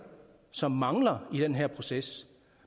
som mangler i den her proces